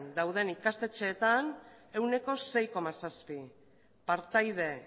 dauden ikastetxeetan ehuneko sei koma zazpi partaide